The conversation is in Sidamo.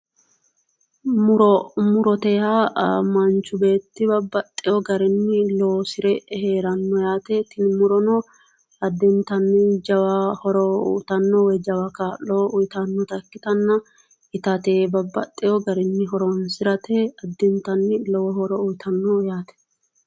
muro muro murote yaa manchi beetti babbaxiho garinni loosire heeranno yaate tini murono yaa addintanni jawa horo uyitanno woyi jswa kaa'lo uyitannota ikkitanna itate babbaxxeho garinni horoonsirate addintanni lowo horo uyitanno yaate.